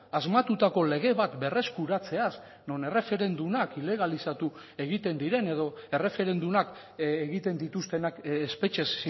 asmatutako lege bat berreskuratzeaz non erreferendumak ilegalizatu egiten diren edo erreferendumak egiten dituztenak espetxez